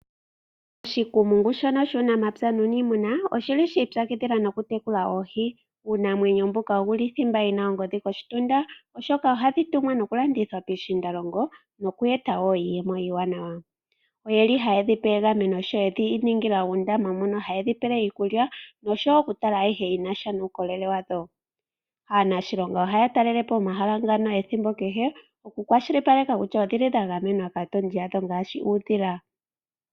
Oshikumungu shono shuunamapya nuuniimuna oshili shi ipyakidhila nokutekula oohi. Uunamwenyo mbuka owuli thimba yina ongodhi koshitunda oshoka ohadhi tumwa nokulandithwa piishiindalongo noku eta woo iiyemo iiwanawa. oyeli hayedhipe egameno sho yedhi ningila uundama mono haye dhipele iikulya noshowo okutala ayihe yi nasha uukolele wadho . Aanashilonga ohaya talelepo omahala ngano ethimbo kehe noku kwashilipaleka kutya odhili dha gamenwa kaatondi yadho ngaashi uudhila.